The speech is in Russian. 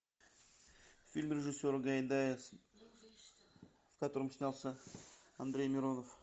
фильм режиссера гайдая в котором снялся андрей миронов